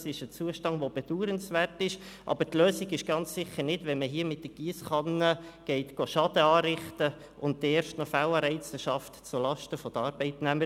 Das ist ein bedauernswerter Zustand, aber die Lösung ist ganz sicher nicht, dass man hier mit der Giesskanne Schaden anrichtet und dann erst noch Fehlanreize zulasten der Arbeitnehmer schafft.